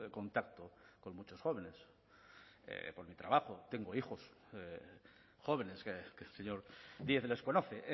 contacto con muchos jóvenes porque trabajo tengo hijos jóvenes que el señor díez les conoce